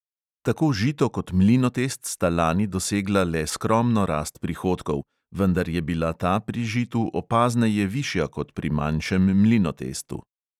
Tako žito kot mlinotest sta lani dosegla le skromno rast prihodkov, vendar je bila ta pri žitu opazneje višja kot pri manjšem mlinotestu.